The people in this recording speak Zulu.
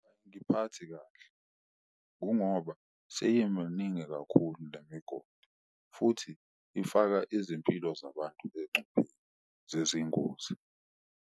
Angiphathi kahle kungoba seyemaningi kakhulu le migodi, futhi ifaka izimpilo zabantu encupheni zezingozi.